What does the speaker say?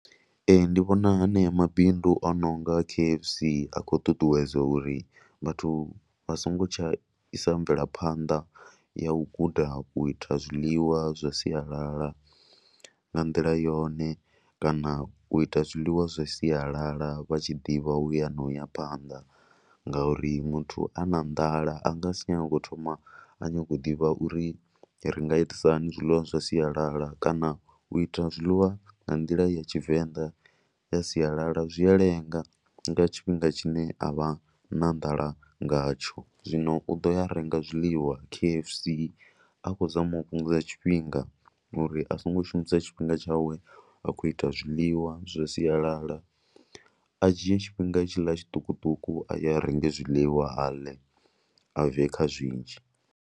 Ee, ndi vhona ha nea mabindu a no nga K_F_C a khou ṱuṱuwedze uri vhathu vha songo tsha isa mvelaphanḓa ya u guda u ita zwiḽiwa zwa sialala nga nḓila yone kana u ita zwiḽiwa zwa sialala vha tshi ḓivha u ya na u ya phanḓa. Ngauri muthu a na nḓala a nga si nyange a thoma a nyanga u ḓivha uri ri nga itisa hani zwiḽiwa zwa sialala kana u ita zwiḽiwa nga nḓila ya Tshivenḓa ya sialala zwi a lenga nga tshifhinga tshine a vha na nḓala ngatsho. Zwino u ḓo ya a renga zwiḽiwa K_F_C a khou zama u fhungudza tshifhinga uri a songo shumisa tshifhinga tshawe a khou ita zwiḽiwa zwa sialala. A dzhie tshifhinga tshiḽa tshiṱukuṱuku a ye a renga zwiḽiwa ḽe a bve kha zwinzhi.